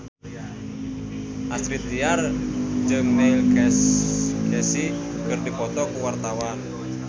Astrid Tiar jeung Neil Casey keur dipoto ku wartawan